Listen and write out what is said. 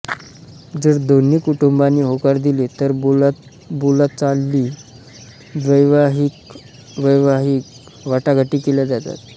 जर दोन्ही कुटुंबांनी होकार दिले तर बोलाचाली वैवाहिकवैवाहिक वाटाघाटी केल्या जातात